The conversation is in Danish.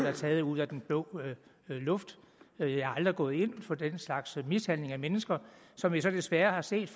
er taget ud af den blå luft jeg har aldrig gået ind for den slags mishandling af mennesker som vi så desværre har set